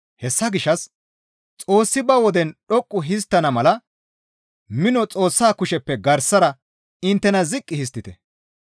Hessa gishshas Xoossi ba woden dhoqqu histtana mala mino Xoossaa kusheppe garsara inttena ziqqi histtite.